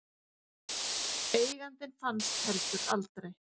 Eigandinn fannst heldur aldrei.